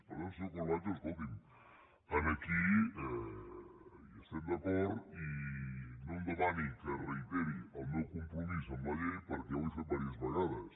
per tant senyor corbacho escolti’m aquí estem d’acord i no em demani que reiteri el meu compromís amb la llei perquè ja ho he fet diverses vegades